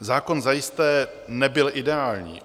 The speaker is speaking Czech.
Zákon zajisté nebyl ideální.